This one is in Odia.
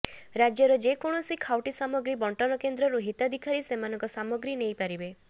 ରାଜ୍ୟର ଯେ କୌଣସି ଖାଉଟି ସାମଗ୍ରୀ ବଣ୍ଟନ କେନ୍ଦ୍ରରୁ ହିତାଧିକାରୀ ସେମାନଙ୍କ ସାମଗ୍ରୀ ନେଇପାରିବେ